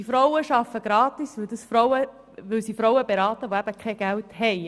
Die Frauen arbeiten gratis, weil sie Frauen beraten, die kein Geld haben.